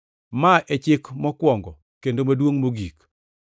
Ma e chik mokwongo kendo maduongʼ mogik.